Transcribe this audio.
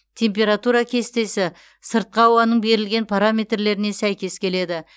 температура кестесі сыртқы ауаның берілген параметрлеріне сәйкес келеді